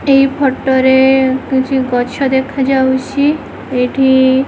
ଏଇ ଫଟୋ ରେ କିଛି ଗଛ ଦେଖାଯାଉଛି ଏଇଠି --